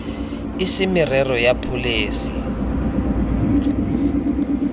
e se merero ya pholesi